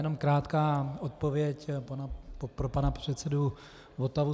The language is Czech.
Jenom krátká odpověď pro pana předsedu Votavu.